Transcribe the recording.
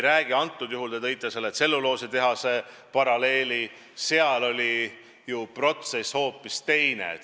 Te tõite tselluloositehase paralleeli, aga seal oli ju protsess hoopis teine.